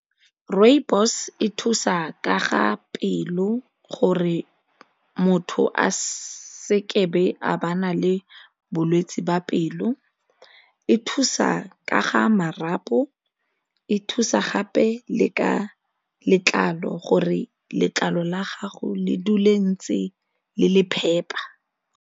Rooibos e thusa ka ga pelo gore motho a se ke be a ba na le bolwetsi ba pelo, e thusa ka ga marapo, e thusa gape le ka letlalo gore letlalo la gago le dule ntse le le phepa.